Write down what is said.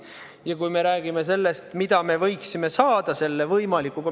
Ja me räägime sellest, mis me võiksime hüvituseks saada.